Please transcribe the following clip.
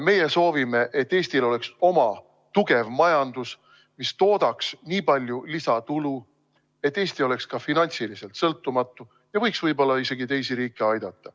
Meie soovime, et Eestil oleks oma tugev majandus, mis toodaks nii palju lisatulu, et Eesti oleks ka finantsiliselt sõltumatu ja võiks võib-olla isegi teisi riike aidata.